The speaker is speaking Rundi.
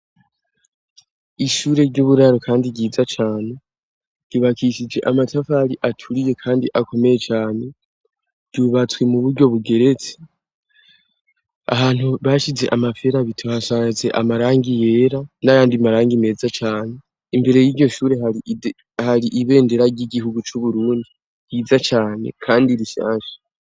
Ishure ry'uburaro kandi ryiza cane ryubakishije amatafari aturiye kandi akomeye cane ryubatswe mu buryo bugeretsi ahantu bashize amaferabeto hasaze amarangi yera n'ayandi marangi meza cane, imbere yiryo shure hari ibendera ry'igihugu c'uburundi ryiza cane kandi rishasha.